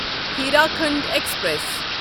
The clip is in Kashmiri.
ہیٖراکھنڈ ایکسپریس